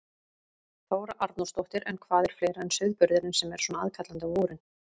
Þóra Arnórsdóttir: En hvað er fleira en sauðburðurinn sem er svona aðkallandi á vorin?